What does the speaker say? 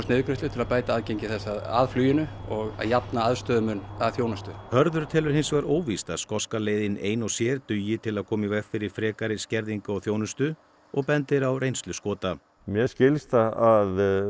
niðurgreiðslu til að bæta aðgengi þess að fluginu og jafna aðstöðumun að þjónustu Hörður telur hins vegar óvíst að skoska leiðin ein og sér dugi til að koma í veg fyrir frekari skerðingu á þjónustu og bendir á reynslu Skota mér skilst að